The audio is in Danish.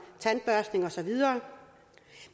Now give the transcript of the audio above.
tandbørstning og så videre